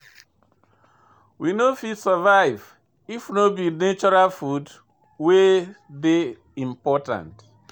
We no fit survive if no be natural food wey dey important.